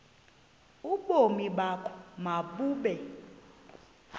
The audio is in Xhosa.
ubomi bakho mabube